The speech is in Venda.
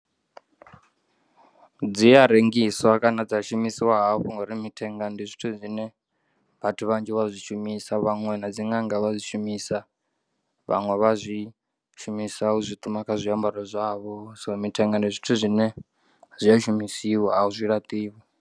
Dzi a rengiswa kana dza shumisiwa hafhu ngauri mithenga ndi zwithu zwine vhathu vhanzhi vha zwi shumisa vhaṅwe na dzi ṅanga vha dzi, shumisa vhaṅwe vha zwi shumisa u zwiṱuma kha zwiambaro zwavho so mithenga ndi zwithu zwine zwi a shumisiwa azwi laṱiwi.